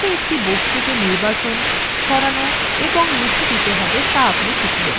এছাড়াও কীভাবে একটি বস্তু কে নির্বাচন করতে সরাতে এবং মুছে দিতে you তা আপনি শিখবেন